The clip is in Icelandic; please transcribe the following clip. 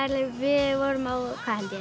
við vorum á